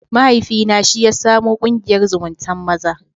Mahaifina shi ya samo ƙungiyar zumuntan maza.